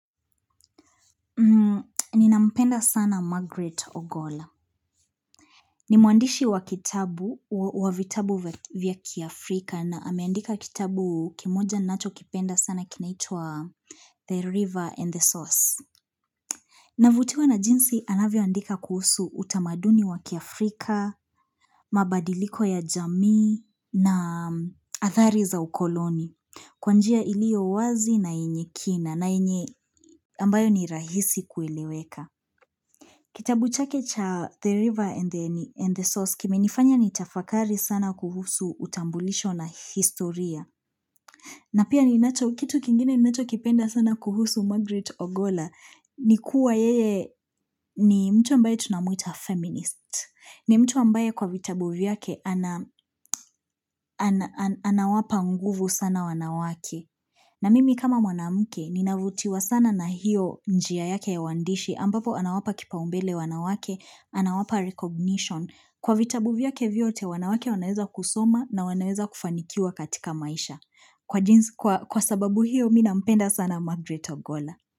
Ninampenda sana margaret ogola ni muandishi wa kitabu wa vitabu vya kiafrika na ameandika kitabu kimoja nachokipenda sana kinaitwa the river and the source Navutiwa na jinsi anavyoandika kuhusu utamaduni wa kiafrika mabadiliko ya jamii na athari za ukoloni Kwa njia iliyowazi na yenye kina na yenye ambayo ni rahisi kueleweka Kitabu chake cha The River and the Source kimenifanya ni tafakari sana kuhusu utambulisho na historia. Na pia ninacho kitu kingine ninachokipenda sana kuhusu Margaret Ogola ni kuwa yeye ni mtu ambaye tunamuita feminist. Ni mtu ambaye kwa vitabu vyake ana anawapa nguvu sana wanawake. Na mimi kama mwanamke, ninavutiwa sana na hiyo njia yake ya uandishi ambapo anawapa kipaumbele wanawake, anawapa recognition. Kwa vitabu vyake vyote, wanawake wanaweza kusoma na wanaweza kufanikiwa katika maisha kwa jinsi Kwa sababu hiyo, mi nampenda sana Margaret Ogola.